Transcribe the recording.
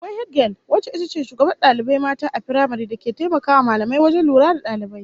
Akwai hedigel wacce ita ce shugabar dalibai mata a firamare, da ke taimakawa mallamai wajen lura da dalibai